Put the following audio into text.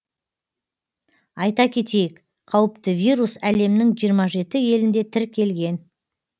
айта кетейік қауіпті вирус әлемнің жиырма жеті елінде тіркелген